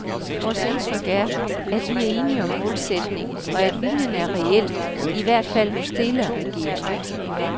Vores indtryk er, at vi er enige om målsætningen, og at viljen er reel, i hvert fald hos dele af regeringen.